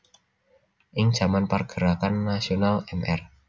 Ing jaman pergerakan nasional Mr